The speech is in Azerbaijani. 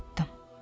Çatdım.